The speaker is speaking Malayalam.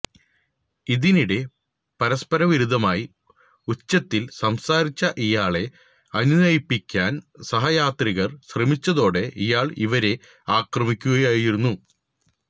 ഇതിനിടെ പരസ്പരവിരുദ്ധമായി ഉച്ചത്തില് സംസാരിച്ച ഇയാളെ അനുനയിപ്പിക്കാന് സഹയാത്രികര് ശ്രമിച്ചതോടെ ഇയാള് ഇവരെ ആക്രമിക്കുകയായിരുന്നു